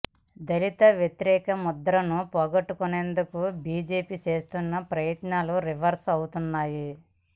దళిత వ్యతిరేక ముద్రను పోగొట్టుకునేందుకు బీజేపీ చేస్తున్న ప్రయత్నాలు రివర్స్ అవుతున్నాయి